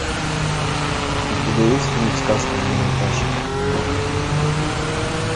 у тебя есть фильм сказка для наташи